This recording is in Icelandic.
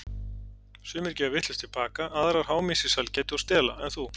Sumar gefa vitlaust tilbaka, aðrar háma í sig sælgæti og stela en þú.